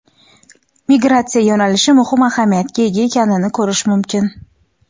migratsiya yo‘nalishi muhim ahamiyatga ega ekanini ko‘rish mumkin.